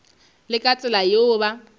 le ka tsela yeo ba